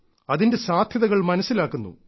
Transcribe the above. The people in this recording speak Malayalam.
അതിന്റെ സാധ്യതകൾ മനസ്സിലാക്കുന്നു